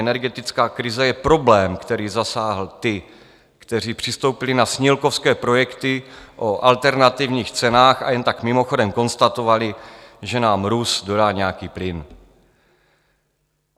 Energetická krize je problém, který zasáhl ty, kteří přistoupili na snílkovské projekty o alternativních cenách a jen tak mimochodem konstatovali, že nám Rus dodá nějaký plyn.